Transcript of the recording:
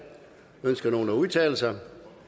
ønsker nogen at udtale sig